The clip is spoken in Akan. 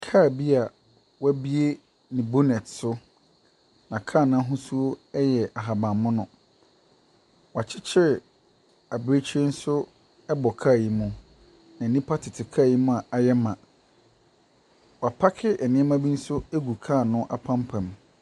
Kaa bi a wɔabue ne bonnet so, na kaa n’ahosuo yɛ ahabanmono. Wɔakyekyere abirekyire nso bɔ kaa yi mu, na nnipa tete kaa yi mu a ayɛ ma. Wɔapaake nneɛma bi nso agu ka no apampa mu.